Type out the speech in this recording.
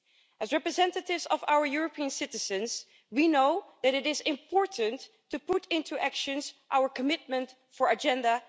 As representatives of our European citizens, we know that it is important to put into action our commitment for Agenda